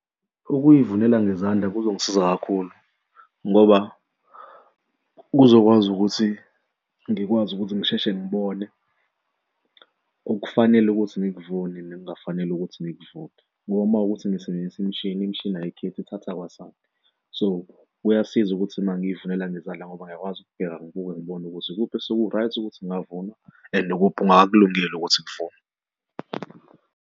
Ukuy'vulela ngezandla kuzongisiza kakhulu ngoba kuzokwazi ukuthi ngikwazi ukuthi ngisheshe ngibone okufanele ukuthi ngikuvune nekungafanele ukuthi ngikuvune ngoba uma kuwukuthi ngisebenzisa imishini imishini ayikhethi ithatha kwasani. So kuyasiza ukuthi mengiyivulela ngezandla ngoba ngiyakwazi ukubheka ngibuke ngibone ukuze ikuphi oseku-right ukuthi ngikuvune and ukuphi okungakakulungeli ukuthi ngivune.